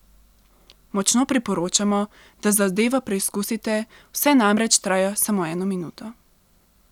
Močno priporočamo, da zadevo preizkusite, vse skupaj namreč traja samo eno minuto.